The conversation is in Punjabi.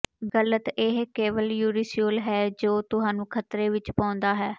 ਗ਼ਲਤ ਇਹ ਕੇਵਲ ਯੂਰੀਸ਼ਿਓਲ ਹੈ ਜੋ ਤੁਹਾਨੂੰ ਖਤਰੇ ਵਿੱਚ ਪਾਉਂਦਾ ਹੈ